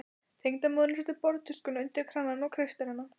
Tengdamóðirin setur borðtuskuna undir kranann og kreistir hana.